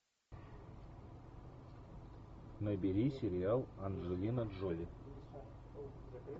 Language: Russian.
набери сериал анджелина джоли